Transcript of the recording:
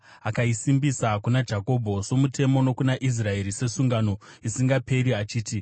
Akaisimbisa kuna Jakobho somutemo, nokuna Israeri sesungano isingaperi achiti,